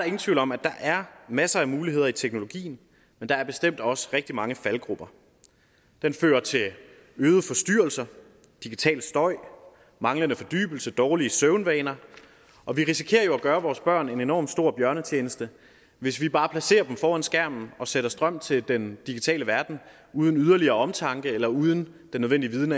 ingen tvivl om at der er masser af muligheder i teknologien men der er bestemt også rigtig mange faldgruber den fører til øgede forstyrrelser digital støj manglende fordybelse og dårlige søvnvaner og vi risikerer jo at gøre vores børn en enormt stor bjørnetjeneste hvis vi bare placerer dem foran skærmen og sætter strøm til den digitale verden uden yderligere omtanke eller uden den nødvendige viden